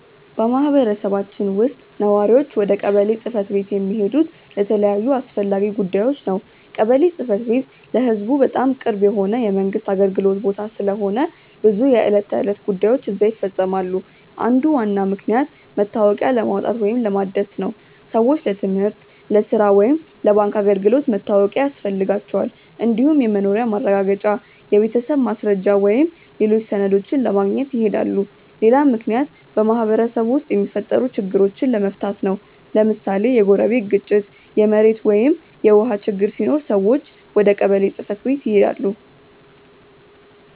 በማህበረሰባችን ውስጥ ነዋሪዎች ወደ ቀበሌ ጽ/ቤት የሚሄዱት ለተለያዩ አስፈላጊ ጉዳዮች ነው። ቀበሌ ጽ/ቤት ለህዝቡ በጣም ቅርብ የሆነ የመንግስት አገልግሎት ቦታ ስለሆነ ብዙ የዕለት ተዕለት ጉዳዮች እዚያ ይፈፀማሉ። አንዱ ዋና ምክንያት መታወቂያ ለማውጣት ወይም ለማደስ ነው። ሰዎች ለትምህርት፣ ለሥራ ወይም ለባንክ አገልግሎት መታወቂያ ያስፈልጋቸዋል። እንዲሁም የመኖሪያ ማረጋገጫ፣ የቤተሰብ ማስረጃ ወይም ሌሎች ሰነዶችን ለማግኘት ይሄዳሉ። ሌላ ምክንያት በማህበረሰቡ ውስጥ የሚፈጠሩ ችግሮችን ለመፍታት ነው። ለምሳሌ የጎረቤት ግጭት፣ የመሬት ወይም የውሃ ችግር ሲኖር ሰዎች ወደ ቀበሌ ጽ/ቤት ይሄዳሉ።